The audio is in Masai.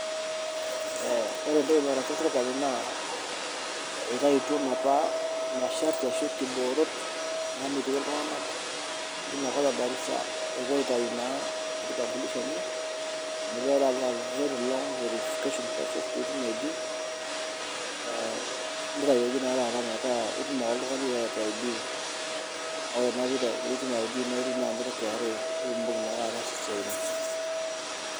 Ore entoki nataasa serkali naa eitaituo napa masharti aashu nkiboorot naamiti iltunganak leinakop e Garissa epuo aitayu naa kitambulisho enye amu keeta apa a very long verification process pee itum ID ,neitayioki naa taata metaa itum ake oltungani pookin ID ore naa pee itum ID naa indip naa nidung KRA pee indim naa anoto siatin.